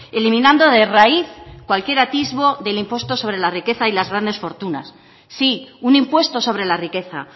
eliminando de raíz cualquier atisbo del impuesto sobre la riqueza y las grandes fortunas sí un impuesto sobre la riqueza